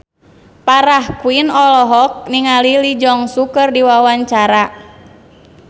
Farah Quinn olohok ningali Lee Jeong Suk keur diwawancara